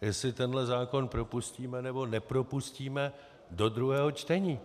jestli tenhle zákon propustíme, nebo nepropustíme do druhého čtení.